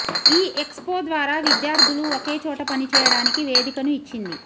ఈ ఎక్స్పో ద్వారా విద్యార్థులు ఒకే చోట పనిచేయడానికి వేదికను ఇచ్చింది